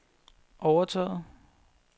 overtaget